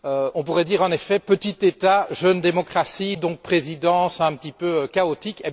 On pourrait dire, en effet, petit État, jeune démocratie, donc présidence un petit peu chaotique.